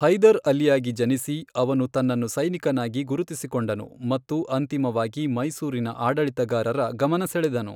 ಹೈದರ್ ಅಲಿಯಾಗಿ ಜನಿಸಿ, ಅವನು ತನ್ನನ್ನು ಸೈನಿಕನಾಗಿ ಗುರುತಿಸಿಕೊಂಡನು ಮತ್ತು ಅಂತಿಮವಾಗಿ ಮೈಸೂರಿನ ಆಡಳಿತಗಾರರ ಗಮನ ಸೆಳೆದನು.